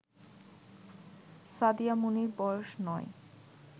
সাদিয়া মনির বয়স ৯